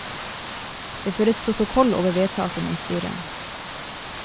Det føres protokoll over vedtakene i styret.